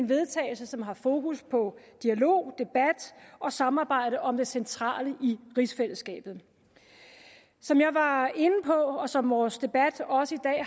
vedtagelse som har fokus på dialog debat og samarbejde om det centrale i rigsfællesskabet som jeg var inde på og som vores debat også i